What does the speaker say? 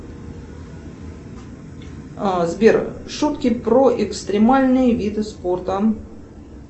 сбер шутки про экстримальные виды спорта